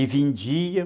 E vendia.